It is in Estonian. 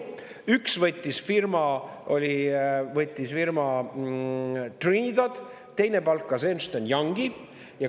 Üks võttis firma Trinidad, teine palkas Ernst & Youngi.